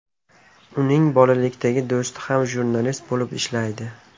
Uning bolalikdagi do‘sti ham jurnalist bo‘lib ishlaydi.